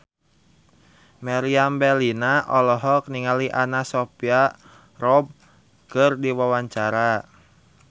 Meriam Bellina olohok ningali Anna Sophia Robb keur diwawancara